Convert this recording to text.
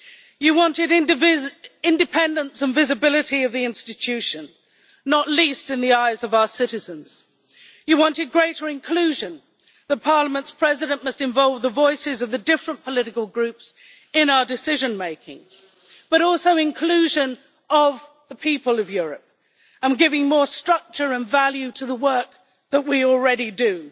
You wanted independence and visibility of the institution, not least in the eyes of our citizens. You wanted greater inclusion that Parliament's President must involve the voices of the different political groups in our decision making, but also inclusion of the people of Europe, and giving more structure and value to the work that we already do,